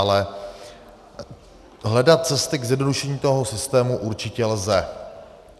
Ale hledat cesty k zjednodušení toho systému určitě lze.